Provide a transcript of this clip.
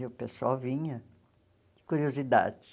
E o pessoal vinha de curiosidade.